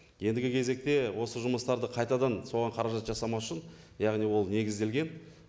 ендігі кезекте осы жұмыстарды қайтадан соған қаражат жасамас үшін яғни ол негізделген